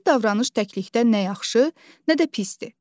Bir davranış təklikdə nə yaxşı, nə də pisdir.